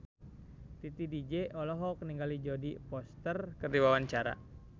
Titi DJ olohok ningali Jodie Foster keur diwawancara